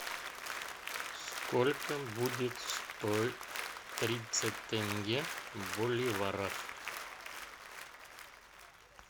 сколько будет стоить тридцать тенге в боливарах